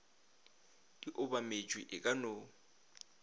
di obametšwe e ka no